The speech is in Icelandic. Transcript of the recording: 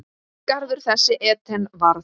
Garður þessi Eden varð.